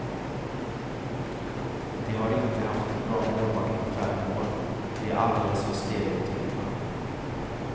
De har inte haft en bra målvakt på fem år, de är alldeles för stereotypa.